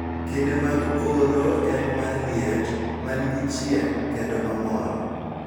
Kinde mag oro en mar liet, ma nigi chieng�, kendo ma mor.